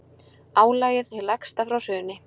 Álagið hið lægsta frá hruni